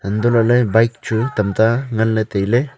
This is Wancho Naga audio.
antolale bike chu tamta nganle taile.